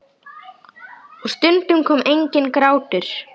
Og stundum kom enginn grátur.